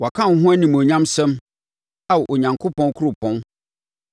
Wɔka wo ho animuonyamsɛm Ao Onyankopɔn kuropɔn: